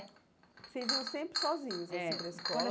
Vocês iam sempre sozinhos, assim, é para a escola?